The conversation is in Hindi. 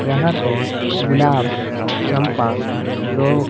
यहां पे गुलाब चंपा रो--